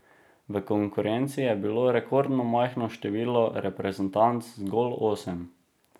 V konkurenci je bilo rekordno majhno število reprezentanc, zgolj osem.